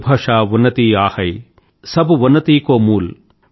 निज भाषा उन्नति अहै सब उन्नति को मूल